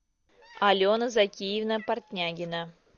алена закиевна портнягина